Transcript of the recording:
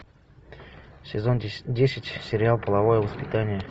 сезон десять сериал половое воспитание